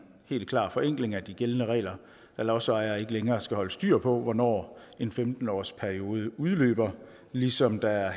forenkling af de gældende regler da lodsejere ikke længere skal holde styr på hvornår en femten årsperiode udløber ligesom der